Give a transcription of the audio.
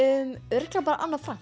örugglega bara Anna